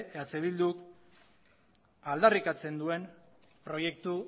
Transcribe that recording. eh bilduk aldarrikatzen duen proiektu